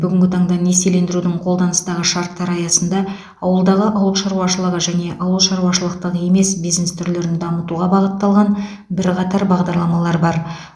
бүгінгі таңда несиелендірудің қолданыстағы шарттары аясында ауылдағы ауыл шаруашылығы және ауыл шаруашылықтық емес бизнес түрлерін дамытуға бағытталған бірқатар бағдарламалар бар